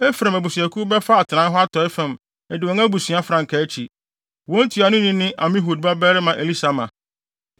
Efraim abusuakuw bɛfa atenae hɔ atɔe fam adi wɔn abusua frankaa akyi. Wɔn ntuanoni ne Amihud babarima Elisama.